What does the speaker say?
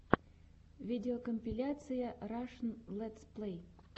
видеокомпиляция рашн летсплэй